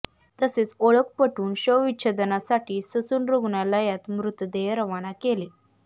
तसेच ओळख पटवून शवविच्छेदनासाठी ससून रुग्णालयात मृतदेह रवाना केले